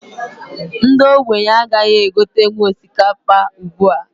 Ndi ogbenye agaghị egotenwu osikapa ugbua